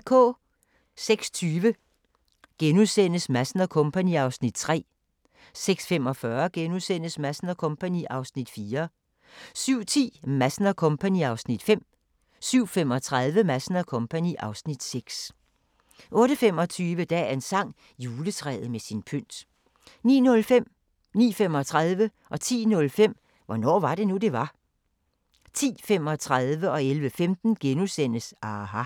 06:20: Madsen & Co. (Afs. 3)* 06:45: Madsen & Co. (Afs. 4)* 07:10: Madsen & Co. (Afs. 5) 07:35: Madsen & Co. (Afs. 6) 08:25: Dagens sang: Juletræet med sin pynt 09:05: Hvornår var det nu, det var? 09:35: Hvornår var det nu, det var? 10:05: Hvornår var det nu, det var? 10:35: aHA! * 11:15: aHA! *